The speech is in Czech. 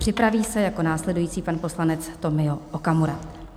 Připraví se jako následující pan poslanec Tomio Okamura.